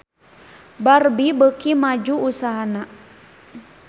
Barbie beuki maju usahana